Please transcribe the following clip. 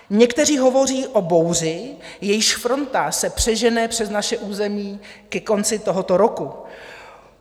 Někteří hovoří o bouři, jejíž fronta se přežene přes naše území ke konci tohoto roku.